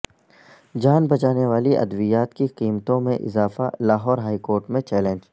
جان بچانے والی ادویات کی قیمتوں میں اضافہ لاہور ہائیکورٹ میں چیلنج